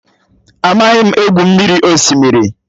Amaghị m.egwu mmiri osimiri